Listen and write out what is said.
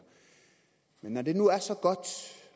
når det nu er så godt